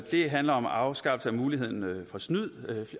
det handler om afskaffelse af muligheden for snyd